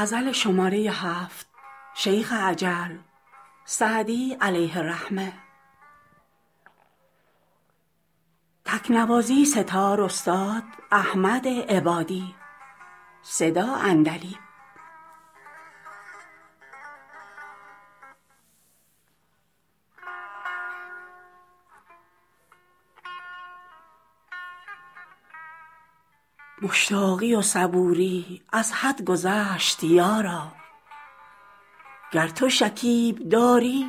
مشتاقی و صبوری از حد گذشت یارا گر تو شکیب داری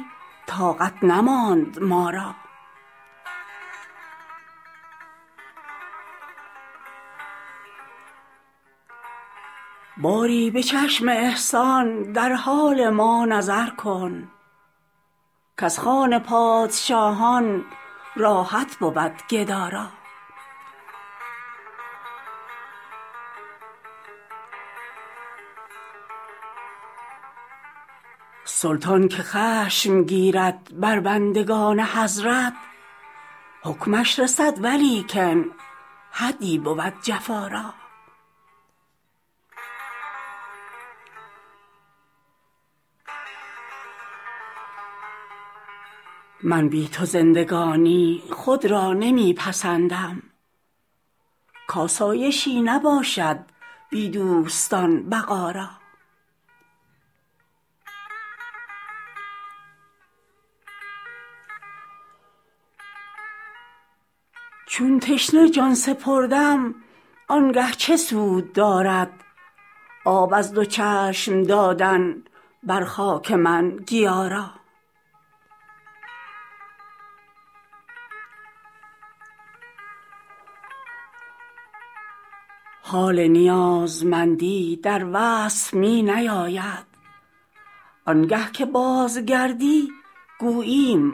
طاقت نماند ما را باری به چشم احسان در حال ما نظر کن کز خوان پادشاهان راحت بود گدا را سلطان که خشم گیرد بر بندگان حضرت حکمش رسد ولیکن حدی بود جفا را من بی تو زندگانی خود را نمی پسندم کآسایشی نباشد بی دوستان بقا را چون تشنه جان سپردم آن گه چه سود دارد آب از دو چشم دادن بر خاک من گیا را حال نیازمندی در وصف می نیاید آن گه که بازگردی گوییم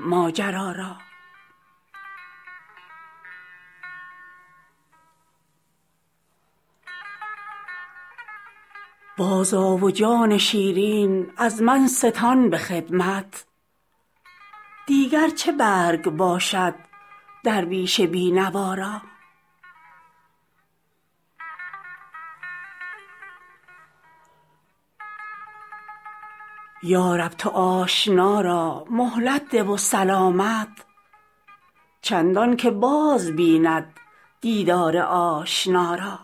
ماجرا را بازآ و جان شیرین از من ستان به خدمت دیگر چه برگ باشد درویش بی نوا را یا رب تو آشنا را مهلت ده و سلامت چندان که باز بیند دیدار آشنا را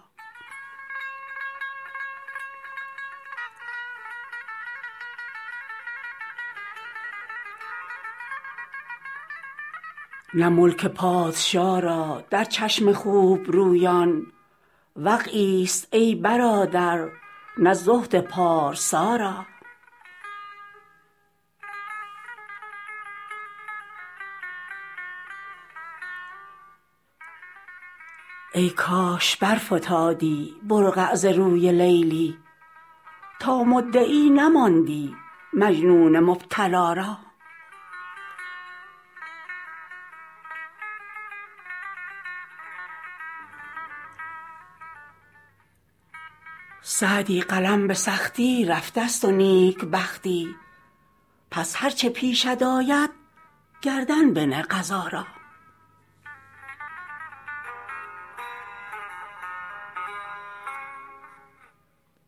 نه ملک پادشا را در چشم خوب رویان وقعی ست ای برادر نه زهد پارسا را ای کاش برفتادی برقع ز روی لیلی تا مدعی نماندی مجنون مبتلا را سعدی قلم به سختی رفته ست و نیک بختی پس هر چه پیشت آید گردن بنه قضا را